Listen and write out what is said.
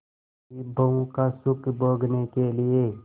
विभवों का सुख भोगने के लिए